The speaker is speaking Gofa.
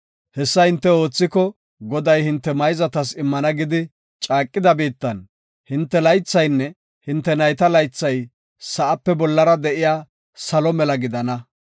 Hessa hinte oothiko, Goday hinte mayzatas immana gidi caaqida biittan, hinte laythaynne hinte nayta laythay sa7ape bollara de7iya salo mela gidana.